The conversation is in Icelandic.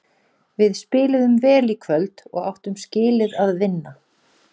Við spiluðum vel í kvöld og áttum skilið að vinna.